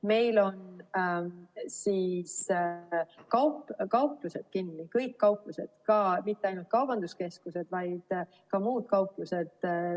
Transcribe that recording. Meil on kauplused kinni – kõik kauplused, mitte ainult kaubanduskeskused, vaid ka muud kauplused.